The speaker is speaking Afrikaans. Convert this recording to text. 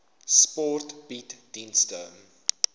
sport bied dienste